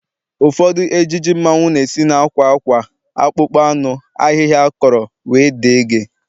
Ụfọdụ ejiji mmanwu na-esi na akwa akwa, akpụkpọ anụ, ahịhịa akọrọ wdg